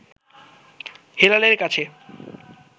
হেলালের কাছে